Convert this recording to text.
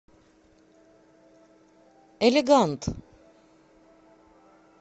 элегант